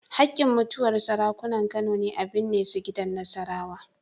Haƙƙin mutuwar Sarakunan Kano ne a binne su gidan Nasarawa.